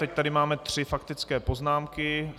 Teď tady máme tři faktické poznámky.